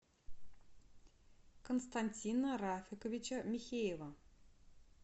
константина рафиковича михеева